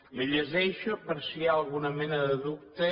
li llegeixo per si hi ha alguna mena de dubte